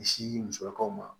Misi musolakaw ma